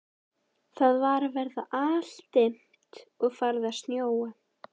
Það var að verða aldimmt og farið að snjóa.